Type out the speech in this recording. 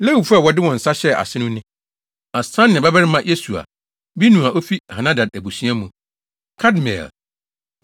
Lewifo a wɔde wɔn nsa hyɛɛ ase no ne: Asania babarima Yesua, Binui a ofi Henadad abusua mu, Kadmiel,